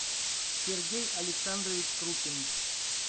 сергей александрович крупин